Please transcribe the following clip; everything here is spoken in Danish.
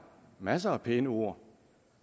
masser af pæne ord